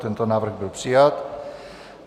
Tento návrh byl přijat.